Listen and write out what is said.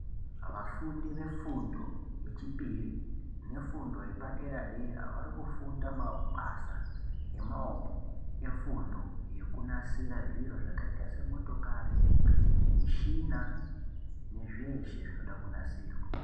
Vafundi vefundo yechipiri nefundo yepadera dera vari kufunda mabasa emaokonefundo nekunasira zviro zvakita semotokari mushina nezveeshe zvinoda kunasirwa.